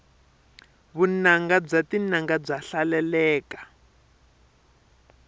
vunanga bya tinanga bya hlaleleka